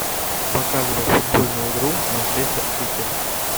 показывай футбольную игру манчестер сити